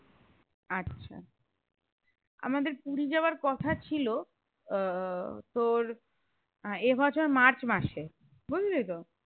আচ্ছা আমাদের পুরি যাওয়ার কথা ছিল আহ তোর এই বছর মার্চমাসে বুঝলি তো?